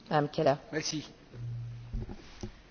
We have a very clear role for refugees.